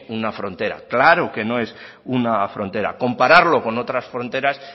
una frontera claro que no es una frontera compararlo con otras fronteras